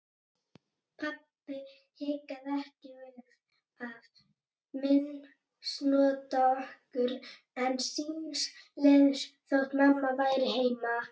Pabbi hikaði ekki við að misnota okkur einn síns liðs þótt mamma væri heima.